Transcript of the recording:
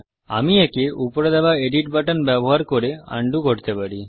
আমি একে উপরে দেওয়া এডিট বাটন ব্যবহার করে undoআন্ডুকরতে পারি